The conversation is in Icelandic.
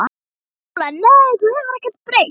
SÓLA: Nei, þú hefur ekkert breyst.